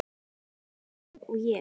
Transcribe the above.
Eins óþæg og ég?